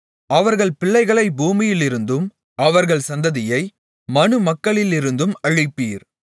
அவர்கள் பிள்ளைகளை பூமியிலிருந்தும் அவர்கள் சந்ததியை மனுமக்களிலிருந்தும் அழிப்பீர்